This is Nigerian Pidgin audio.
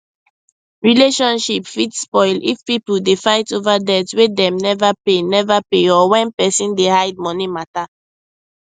relationship fit spoil if people dey fight over debt wey dem never pay never pay or when person dey hide money matter